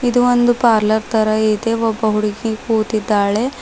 ಒಂದು ಪಾರ್ಲರ್ ತರ ಇದೆ ಒಬ್ಬ ಹುಡುಗಿ ಕೂತಿದ್ದಾಳೆ.